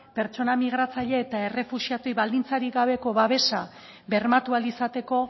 pertsona migratzailea eta errefuxiatuei baldintzarik gabeko babesa bermatu ahal izateko